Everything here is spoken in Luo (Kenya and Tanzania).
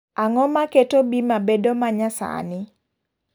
Ang'o maketo bima bedo manyasani?